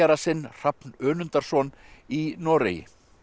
sinn Hrafn Önundarson í Noregi